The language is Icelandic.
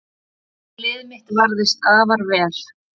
Lið mitt varðist afar vel